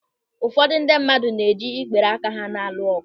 Ụfọdụ ndị mmadụ na-eji ikpere aka ha na-alụ ọgụ.